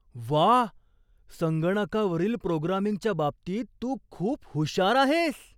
व्वा! संगणकावरील प्रोग्रामिंगच्या बाबतीत तू खूप हुशार आहेस.